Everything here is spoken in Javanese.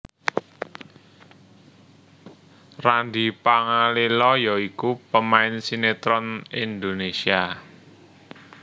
Randy Pangalila ya iku pemain sinetron Indonesia